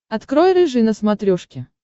открой рыжий на смотрешке